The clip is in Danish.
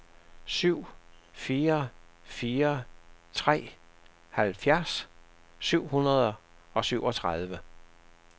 syv fire fire tre halvfjerds syv hundrede og syvogtredive